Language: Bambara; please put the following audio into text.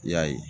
I y'a ye